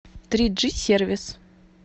триджи сервис